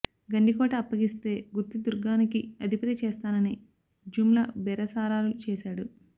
గండికోట అప్పగిస్తే గుత్తి దుర్గానికి అధిపతి చేస్తానని జుమ్లా బేరసారాలు చేశాడు